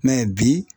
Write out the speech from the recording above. bi